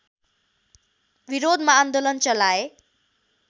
विरोधमा आन्दोलन चलाए